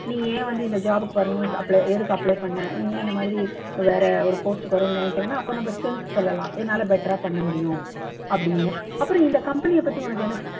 நீ ஏன் வந்து இந்த job க்கு வரணும் apply எதுக்கு apply பண்ண நீ ஏன் இந்த மாதிரி வேற ஒரு post க்கு வரும்ன்னு நினைக்கிறேன்னா அப்போ நம்ம strength சொல்லலாம் என்னால better ஆ பண்ண முடியும் அப்படின்னு அப்புறம் இந்த company அ பத்தி உனக்கு என்ன